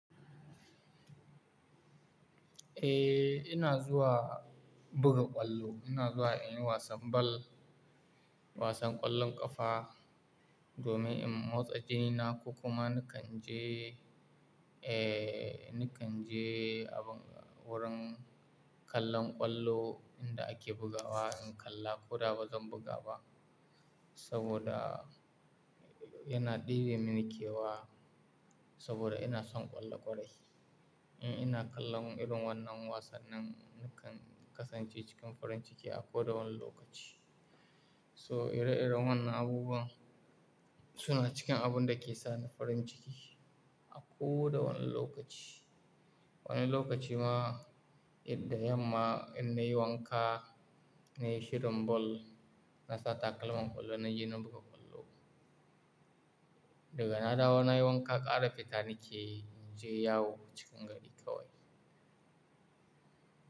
Eh, ina zuwa buga ƙwallo. Ina zuwa in yi wasan ball, wasan ƙwallon ƙafa domin in motsa jinina ko kuma nakan je, eh nakan je abin wurin kallon ƙwallo inda ake bugawa in kalla. Ko da ba zan buga ba saboda yana ɗebe min kewa saboda ina son ƙwallo kwarai. Eh, ina kallon irin wannan wasannin nakan kasance cikin farin ciki a ko da wane lokaci. So ire-iren wannan abubuwa suna cikin abun da ke sani farin ciki a ko da wane lokaci. Wani lokaci ma idda yamma in na yi wanka, na yi shirin ball, nasa takalman ƙwallo na ji na buga ƙwallo. Da gana da wa na yi wanka, ƙara fita nake in je yawo cikin gari kawai.